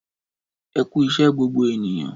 Ẹkú iṣẹ gbogbo ènìyàn